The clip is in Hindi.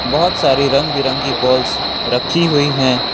बहोत सारी रंग बिरंगी बॉल्स रखी हुई है।